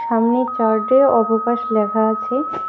সামনের চার্ট -এ অবকাশ লেখা আছে।